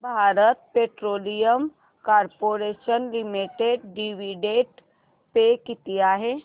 Bharat petroleum corporation limited dividend pay किती आहे